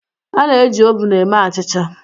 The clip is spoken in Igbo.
A na-eji ovun eme achịcha